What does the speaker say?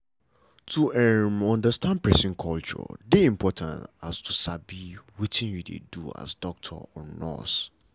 um if you lis ten to patient wey you no um judge am una go understand unasef well.